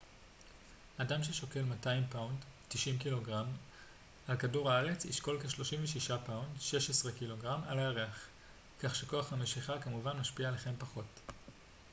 "אדם ששוקל 200 פאונד 90 ק""ג על כדור הארץ ישקול כ-36 פאונד 16 ק""ג על הירח. כך שכוח המשיכה כמובן משפיע עליכם פחות.